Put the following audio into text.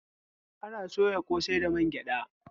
Ana soya ƙosai da mangyada